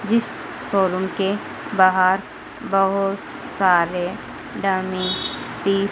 जिस शोरूम के बाहर बहुत सारे डमी पीस --